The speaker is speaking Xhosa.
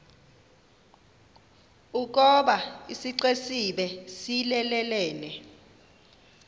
ukoba isixesibe siyelelene